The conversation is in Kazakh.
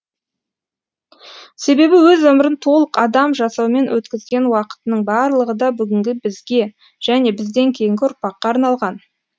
себебі өз өмірін толық адам жасаумен өткізген уақытының барлығы да бүгінгі бізге және бізден кейінгі ұрпаққа арналған